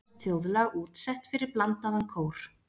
Íslenskt þjóðlag útsett fyrir blandaðan kór.